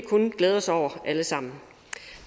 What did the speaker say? kun glæde os over alle sammen